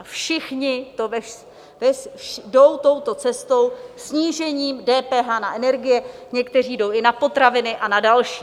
A všichni jdou touto cestou: snížením DPH na energie, někteří jdou i na potraviny a na další.